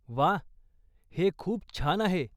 वा, हे खूप छान आहे!